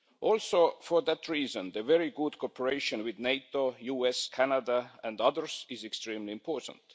Also for that reason, very good cooperation with NATO, the US, Canada and others is extremely important.